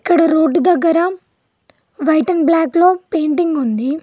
ఇక్కడ రోడ్డు దగ్గర white and black లో పెయింటింగ్ ఉంది.